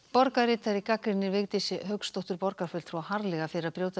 borgarritari gagnrýnir Vigdísi Hauksdóttur borgarfulltrúa harðlega fyrir að brjóta